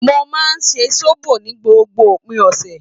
Mo máa ń ṣe sóbò ní gbogbo òpin ọ̀sẹ̀